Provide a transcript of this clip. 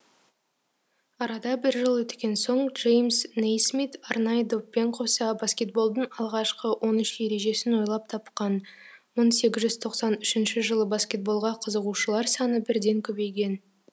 арада бір жыл өткен соң джеймс нейсмит арнайы доппен қоса баскетболдың алғашқы он үш ережесін ойлап тапқан мың сегіз жүз тоқсан үшінші жылы баскетболға қызығушылар саны бірден көбейген